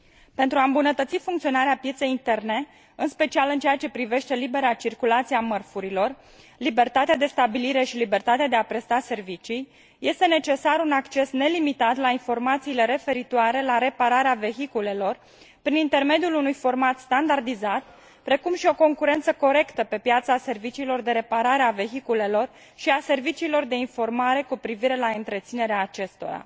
Pentru a îmbunătăți funcționarea pieței interne, în special în ceea ce privește libera circulație a mărfurilor, libertatea de stabilire și libertatea de a presta servicii, este necesar un acces nelimitat la informațiile referitoare la repararea vehiculelor, prin intermediul unui format standardizat, precum și o concurență corectă pe piața serviciilor de reparare a vehiculelor și a serviciilor de informare cu privire la întreținerea acestora.